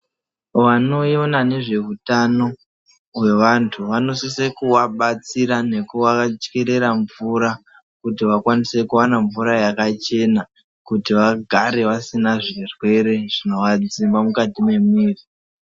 Vanoiona nezvehutano wevantu vanosisa kuvabatsira nekuvacherera mvura kuti vakwanise kuwana mvura yakachena kuti vagare vasina zvirwere zvinova dzima mukati memwiri.